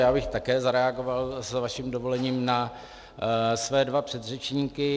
Já bych také zareagoval s vaším dovolením na své dva předřečníky.